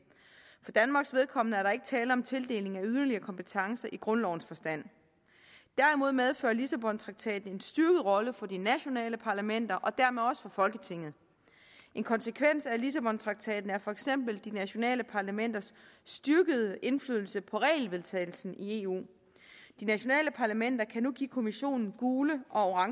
for danmarks vedkommende er der ikke tale om tildeling af yderligere kompetencer i grundlovens forstand derimod medfører lissabontraktaten en styrket rolle for de nationale parlamenter og dermed også for folketinget en konsekvens af lissabontraktaten er for eksempel de nationale parlamenters styrkede indflydelse på regelvedtagelsen i eu de nationale parlamenter kan nu give kommissionen gule og